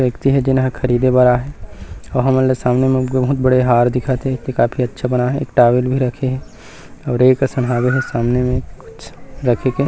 व्यक्ति हे जेन ह ख़रीदे बर आए हे अऊ हमन ल सामने में बहुत बड़े हार दिखत हे काफी अच्छा बनाए हे टॉवेल भी रखे हे अऊ रेक असन हवे हे सामने में कुछ रखे के--